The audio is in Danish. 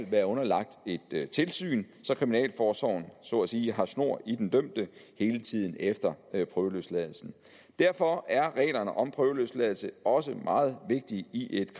være underlagt et tilsyn så kriminalforsorgen så at sige har snor i den dømte hele tiden efter prøveløsladelsen derfor er reglerne om prøveløsladelse også meget vigtige i et